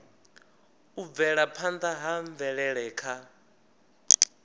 u bvelaphanda ha mvelele kha